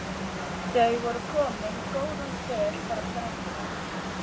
Þau voru komin góðan spöl frá ströndinni.